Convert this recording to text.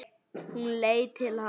Hún leit til hans.